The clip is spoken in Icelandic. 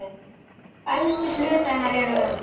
Elstu hlutar hennar eru um